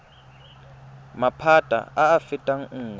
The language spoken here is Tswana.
maphata a a fetang nngwe